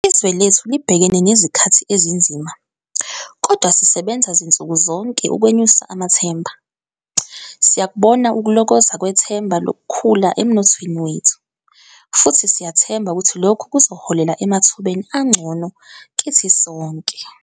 Izwe lethu libhekene nezikhathi ezinzima, kodwa sisebenza zinsuku zonke ukwenyusa amathemba. Siyakubona ukulokoza kwethemba lokukhula emnothweni wethu, futhi siyathemba ukuthi lokhu kuzoholela emathubeni angcono kithi sonke.